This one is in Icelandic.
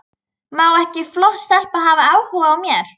Má ekki flott stelpa hafa áhuga á mér?